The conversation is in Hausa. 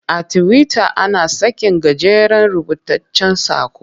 A Tiwita ana sakin gajeren rubutaccen saƙo.